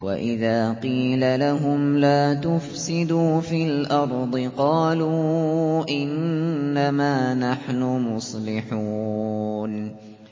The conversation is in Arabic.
وَإِذَا قِيلَ لَهُمْ لَا تُفْسِدُوا فِي الْأَرْضِ قَالُوا إِنَّمَا نَحْنُ مُصْلِحُونَ